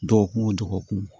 Dɔgɔkun o dɔgɔkun